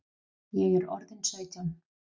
Ég er orðin sautján!